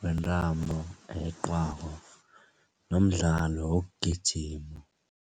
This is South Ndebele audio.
wentambo eyeqiwako nomdlalo wokugijima.